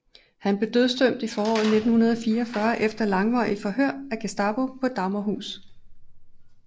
Han blev dødsdømt i foråret 1944 efter langvarige forhør af Gestapo på Dagmarhus